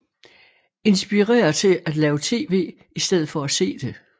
Inspirere til at lave tv i stedet for at se det